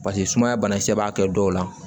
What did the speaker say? Paseke sumaya banakisɛ b'a kɛ dɔw la